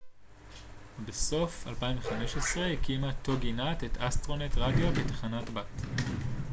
בסוף 2015 הקימה טוגי-נט את אסטרו-נט רדיו כתחנת בת